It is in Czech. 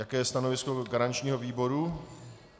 Jaké je stanovisko garančního výboru?